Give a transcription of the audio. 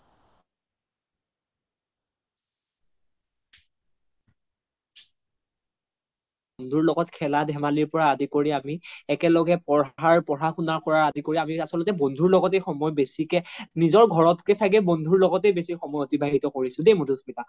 বন্ধুৰ লগত খেলা ধেমালি পৰা আদি কৰি একেলগে পঢ়াৰ পঢ়া শুনা আদি কৰি আমি আচল্তে বন্ধুৰ লগতে সময় বেচিকে নিজৰ ঘৰত কে চাগে বন্ধুৰ লগতে সময় অতিবাহিত কৰিছো দেই মাধুস্মিতা